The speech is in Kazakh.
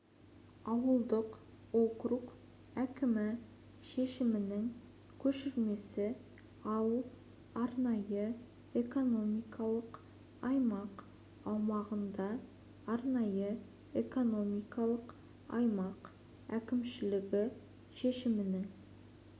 ауылдық округ әкімі шешімінің көшірмесі ал арнайы экономикалық аймақ аумағында арнайы экономикалық аймақ әкімшілігі шешімінің